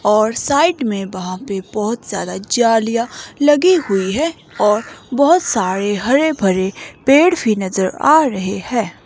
और साइड में वहां पे बहोत ज्यादा जालिया लगी हुई है और बहोत सारे हरे भरे पेड़ भी नजर आ रहे हैं।